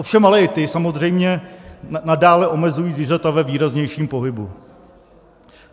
Ovšem ale i ty samozřejmě nadále omezují zvířata ve výraznějším pohybu.